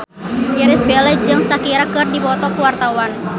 Irish Bella jeung Shakira keur dipoto ku wartawan